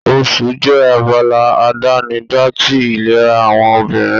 Oṣù jẹ́ abala àdánidá ti ìlera àwọn obìnrin.